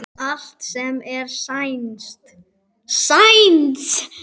Allt sem er sænskt, sænskt.